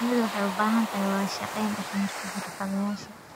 Shinnidu waxay u baahan tahay wada shaqayn dhex marta xirfadlayaasha.